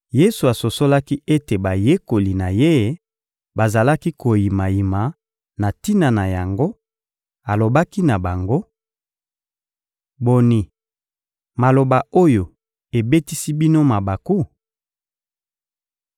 Yesu asosolaki ete bayekoli na Ye bazalaki koyimayima na tina na yango; alobaki na bango: — Boni, maloba oyo ebetisi bino mabaku?